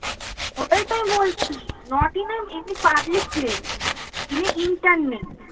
ওটাই তো আমি বলছি not in a public place in a internet